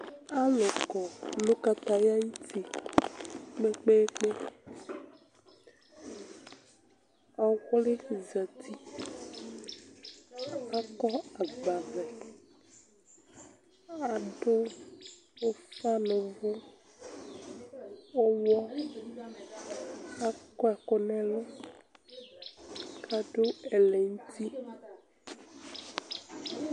alu kɔ nu kataya ayuti kpekpekpe, ɔwli zati kakɔ agba vlɛ, ku adu ufa nu uvu ɔwliɛ akɔ ɛku nu ɛlu ku adu ɛlɛ nu uti